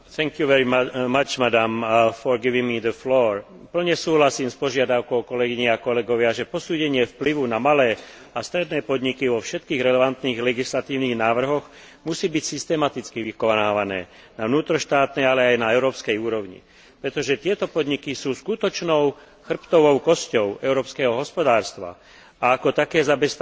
Plne súhlasím s požiadavkou, že posúdenie vplyvu na malé a stredné podniky vo všetkých relevantných legislatívnych návrhoch musí byť vykonávané systematicky na vnútroštátnej, ale aj na európskej úrovni, pretože tieto podniky sú skutočnou chrbtovou kosťou európskeho hospodárstva a ako také zabezpečujú viac ako 100 miliónov pracovných miest.